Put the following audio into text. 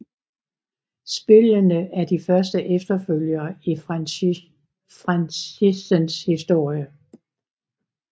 Spillene er de første efterfølgere i franchisens historie